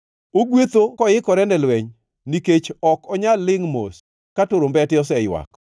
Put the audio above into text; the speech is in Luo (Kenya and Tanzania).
Ogwetho koikore ne lweny; nikech ok onyal lingʼ mos ka turumbete oseywak.